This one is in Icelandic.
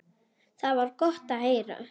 Það var gott að heyra.